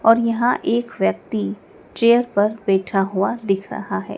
और यहाँ एक व्यक्ति चेयर पर बैठा हुआ दिख रहा है।